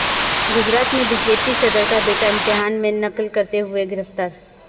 گجرات میں B J P صدر کا بیٹا امتحان میں نقل کرتے ہوئے گرفتار